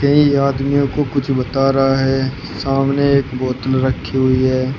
ये आदमियों को कुछ बता रहा है सामने बोतल रखी हुई है।